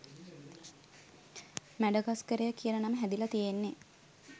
මැඩගස්කරය කියන නම හැදිලා තියෙන්නේ